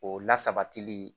O la sabatili